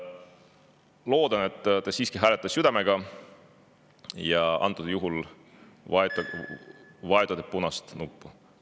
Loodan, et te siiski hääletate südamega ja antud juhul vajutate punast nuppu.